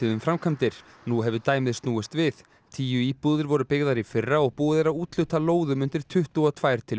um framkvæmdir nú hefur dæmið snúist við tíu íbúðir voru byggðar í fyrra og búið er að úthluta lóðum undir tuttugu og tvær til